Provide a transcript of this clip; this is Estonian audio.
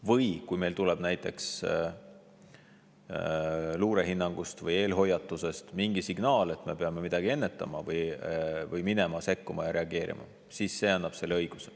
Või kui meil tuleb näiteks luurehinnangust või eelhoiatusest mingi signaal, et me peame midagi ennetama või sekkuma ja reageerima, siis see annab selle õiguse.